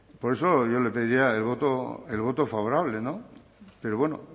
por eso yo le pediría el voto favorable pero bueno